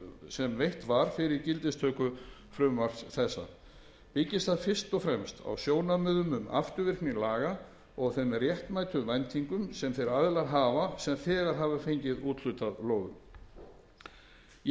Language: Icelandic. sem veitt var fyrir gildistöku frumvarps þessa byggist það fyrst og fremst á sjónarmiðum um afturvirkni laga og þeim réttmætu væntingum sem þeir aðilar hafa sem þegar hafa fengið úthlutað lóðum ég vil